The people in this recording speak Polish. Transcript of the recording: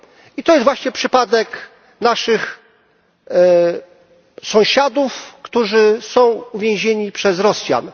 I to jest właśnie przypadek naszych sąsiadów, którzy są uwięzieni przez Rosjan.